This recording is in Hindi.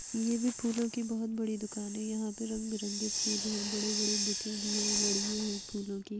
ये भी फूलो की बहुत बड़ी दुकान है। यहां पे रंग-बिरंगे फूल हैं बड़े-बड़े बुके भी हैं और लड़ीयां है फूलो की।